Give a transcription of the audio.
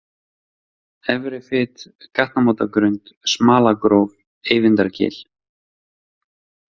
Efrifit, Gatnamótagrund, Smalagróf, Eyvindargil